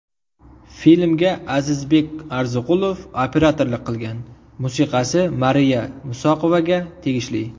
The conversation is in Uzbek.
Filmga Azizbek Arziqulov operatorlik qilgan, musiqasi Mariya Musoqovaga tegishli.